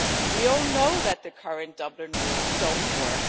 We all know that the current Dublin rules don't work.